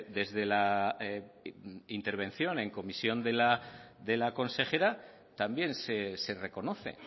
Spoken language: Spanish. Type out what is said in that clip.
desde la intervención en comisión de la consejera también se reconoce